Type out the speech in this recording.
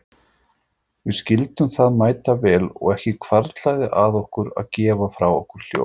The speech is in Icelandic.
Við skildum það mætavel og ekki hvarflaði að okkur að gefa frá okkur hljóð.